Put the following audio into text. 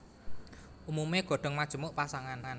Umumé godhong majemuk pasangan